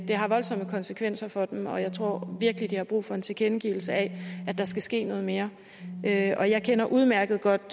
har voldsomme konsekvenser for dem og jeg tror virkelig de har brug for en tilkendegivelse af at der skal ske noget mere og jeg kender udmærket godt